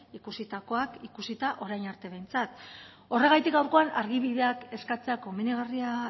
ikusitakoak ikusita orain arte behintzat horregatik gaurkoan argibideak eskatzea komenigarria